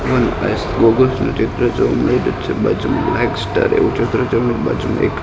one eyes goggles નુ ચિત્ર જોવા મળી રહ્યુ છે બાજુમાં એવુ ચિત્ર છે ને બાજુમાં એક--